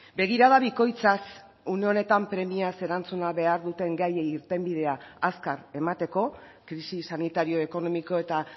begirada bikoitzaz une honetan premiaz erantzuna behar duten gaiei irtenbidea azkar emateko krisi sanitario ekonomiko eta